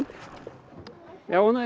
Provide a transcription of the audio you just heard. já og nei